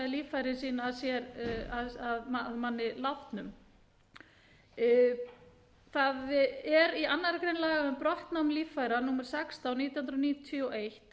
líffæri sín að manni látnum í annarri grein laga um brottnám líffæra númer sextán nítján hundruð níutíu og eitt